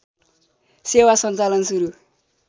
सेवा सञ्चालन सुरू